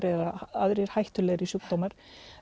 eða aðrir hættulegri sjúkdómar